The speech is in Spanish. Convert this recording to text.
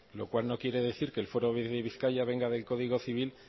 lo cual no quiere decir que el fuero de bizkaia venga del código civil